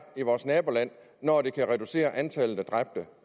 i vores naboland når det kan reducere antallet